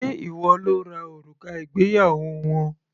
Ṣé ìwọ lo ra òrùka ìgbéyàwó wọn?